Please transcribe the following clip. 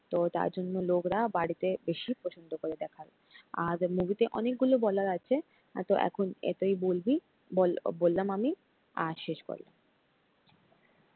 তো তার জন্য লোকরা বাড়িতে বেশি পছন্দ করে দেখা আর এই movie তে অনেকগুলো বলার আছে তো এখন এতই বলবি, বল বললাম আমি আর শেষ করলাম।